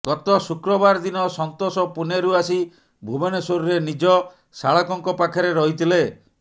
ଗତ ଶୁକ୍ରବାର ଦିନ ସନ୍ତୋଷ ପୁନେରୁ ଆସି ଭୁବନେଶ୍ବରରେ ନିଜ ଶାଳକଙ୍କ ପାଖରେ ରହିଥିଲେ